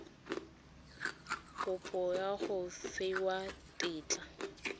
kopo ya go fiwa tetla